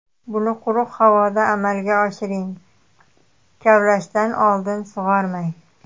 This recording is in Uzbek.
Buni quruq havoda amalga oshiring, kavlashdan oldin sug‘ormang.